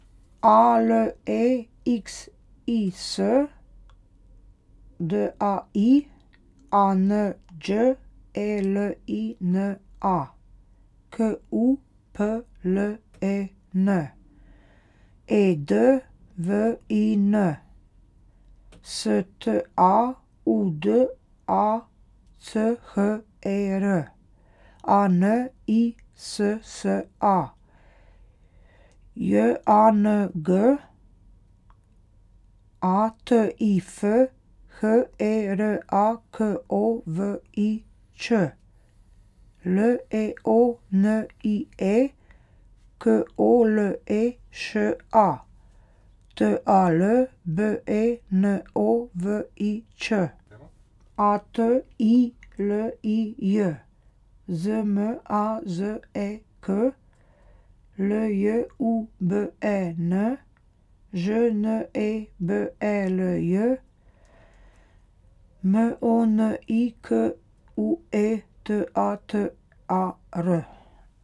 A L E X I S, D A I; A N Đ E L I N A, K U P L E N; E D W I N, S T A U D A C H E R; A N I S S A, J A N G; A T I F, H E R A K O V I Č; L E O N I E, K O L E Š A; T A L, B E N O V I Ć; A T I L I J, Z M A Z E K; L J U B E N, Ž N E B E L J; M O N I K U E, T A T A R.